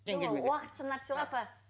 уақытша нәрсе ғой апа